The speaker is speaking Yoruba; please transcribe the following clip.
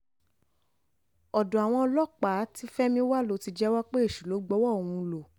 Odo awon olopa ti femi wa lo ti jewo pe esu lo gbaowo ohun lo